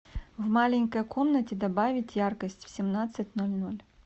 в маленькой комнате добавить яркость в семнадцать ноль ноль